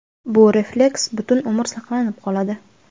Bu refleks butun umr saqlanib qoladi.